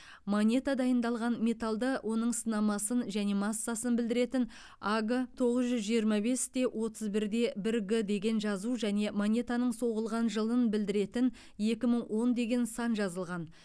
монета дайындалған металды оның сынамасын және массасын білдіретін аг тоғыз жүз жиырма бес те отыз бір де бір г деген жазу және монетаның соғылған жылын білдіретін екі мың он деген сан жазылған